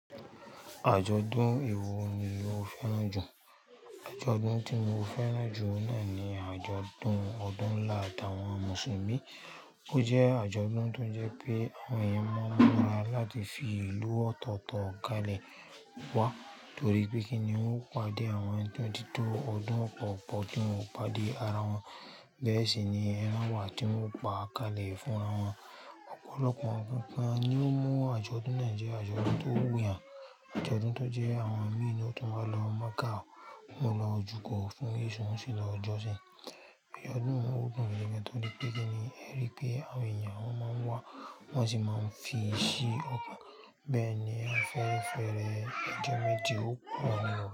Àjọ̀dún wò ní o fẹ́ràn jù? Àjọ̀dún tí mo fẹ́ràn jù náà ni àjọ̀dún ọdún ńlá tàwọn Mùsùlùmí. O jẹ́ àjọ̀dún tó ń jẹ́ pé àwọn èèyàn máa ń múra láti fi ìlú ọ̀tọ̀ọ̀tọ̀ kalẹ̀ wá torí pé kíni ń ò pàdé àwọn ẹni tó ti tó ọdún kọ̀ọ̀kan tí wọn ò pàdé ara wọn. Bẹ́ẹ̀ sì ni ẹran wà tí wọn ó pa kalẹ̀ fún wọn. Ọ̀pọ̀lọpọ̀ ọkùnrin kan ni ó mọ̀ àjọ̀dún Nàìjíríà, àjọ̀dún tó wùnyì, àjọ̀dún tó jẹ́ àwọn mí ni ó tún máa ń lọ Makka, wọ́n máa ń lọ jùkọ̀ fún ìṣọ́ wọn sílẹ̀ lọ́jọ́ sí. Àjọ̀dún tó wù mí gẹ́gẹ́ bí kíni ń rí pé àwọn èèyàn máa ń wá, wọn sì máa ń fi sí ọkàn. Bẹ́ẹ̀ ni àfẹ́fẹ́rẹ́, àjọ̀dún tí ó kún wọn lọ́wọ́.